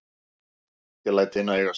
Ég læt hina eiga sig.